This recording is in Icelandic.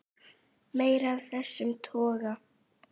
Meira af þessum toga.